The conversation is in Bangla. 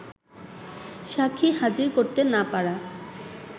সাক্ষী হাজির করতে না পারা